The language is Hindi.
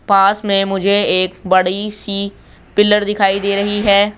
पास में मुझे एक बड़ी सी पिलर दिखाई दे रही है।